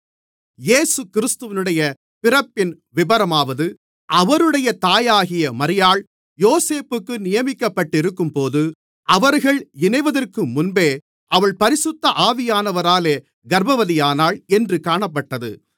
இயேசு கிறிஸ்துவினுடைய பிறப்பின் விபரமாவது அவருடைய தாயாகிய மரியாள் யோசேப்புக்கு நியமிக்கப்பட்டிருக்கும்போது அவர்கள் இணைவதற்குமுன்பே அவள் பரிசுத்த ஆவியானவராலே கர்ப்பவதியானாள் என்று காணப்பட்டது